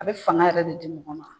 A be fanga yɛrɛ de di mɔgɔ ma.